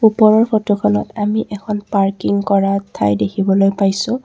ওপৰৰ ফটোখনত আমি এখন পাৰ্কিং কৰাৰ ঠাই দেখিবলৈ পাইছোঁ।